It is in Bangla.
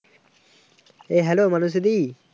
A Hello Manasi the